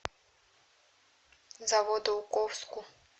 заводоуковску